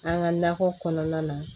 An ka nakɔ kɔnɔna na